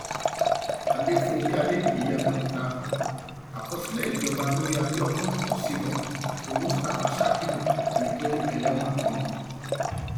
adéfúnge adébíyí abẹòkúta àkọsílẹ ìjọba lórí abiodun ọsibọh àti mustapha sakiru ni pé ẹlẹwọn ni wọn